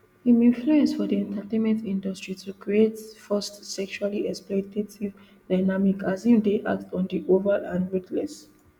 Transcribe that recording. im influence for di entertainment industry to create forced sexually exploitative dynamic as im dey act on the oval and ruthless